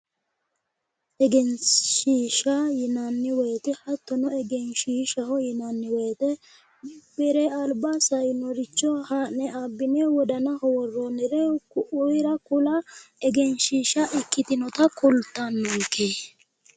Egenshishsha yinnanni woyte hattono egenshishshaho yinnanni woyte bire alba sainoricho abbine wodanaho woronire ku'u ko'ira kula egenshishshaha ikkitinotta kultanonke .